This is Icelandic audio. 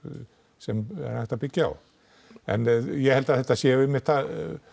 sem er hægt að byggja á en ég held að þetta sé einmitt það